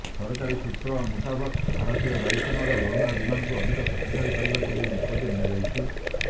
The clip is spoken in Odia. ସରକାରୀ ସୂତ୍ର ମୁତାବକ ଭାରତୀୟ ବାୟୁସେନାର ଲଢୁଆ ବିମାନକୁ ଅଧିକ ଶକ୍ତିଶାଳୀ କରିବାକୁ ଏହି ନିଷ୍ପତ୍ତି ନିଆଯାଇଛି